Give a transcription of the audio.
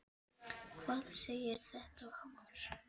Hvað segir þetta okkur?